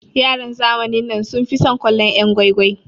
Yaran zamanin nan sun fi son kallon'yan gwai gwai.